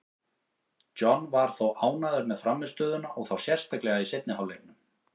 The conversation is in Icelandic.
John var þó ánægður með frammistöðuna, og þá sérstaklega í seinni hálfleiknum.